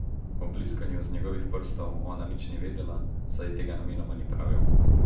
O bliskanju z njegovih prstov ona nič ni vedela, saj ji tega namenoma ni pravil.